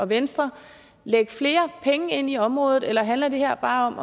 venstre lægge flere penge ind i området eller handler det her bare om